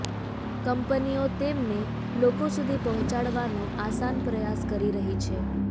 કંપનીઓ તેમને લોકો સુધી પહોંચાડવાનો આસાન પ્રયાસ કરી રહી છે